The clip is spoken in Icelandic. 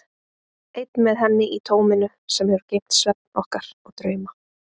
Einn með henni í tóminu sem hefur geymt svefn okkar og drauma.